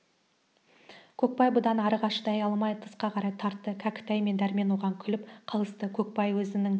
көкбай бұдан арыға шыдай алмай тысқа қарай тартты кәкітай мен дәрмен оған күліп қалысты көкбай өзінің